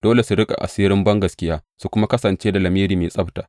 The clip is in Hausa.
Dole su riƙe asirin bangaskiya su kuma kasance da lamiri mai tsabta.